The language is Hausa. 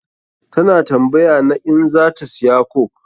Ta na tambaya na in za ta siya coke.